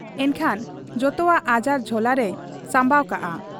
ᱮᱱᱠᱷᱟᱱ ᱡᱚᱛᱚᱣᱟᱜ ᱟᱡᱟᱨ ᱡᱷᱚᱞᱟᱨᱮᱭ ᱥᱟᱢᱵᱟᱣ ᱠᱟᱫ ᱟ ᱾